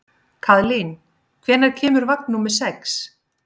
Kaðlín, hvenær kemur vagn númer sex?